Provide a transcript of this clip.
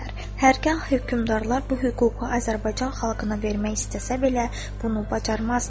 Hər qah hökmdarlar bu hüququ Azərbaycan xalqına vermək istəsə belə, bunu bacarmazdılar.